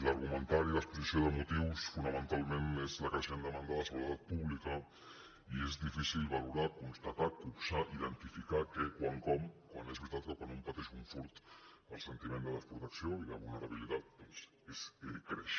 l’argumentari l’exposició de motius fonamentalment és la creixent demanda de seguretat pública i és difícil valorar constatar copsar identificar què quan com quan és veritat que quan pateix un furt el sentiment de desprotecció i de vulnerabilitat doncs creix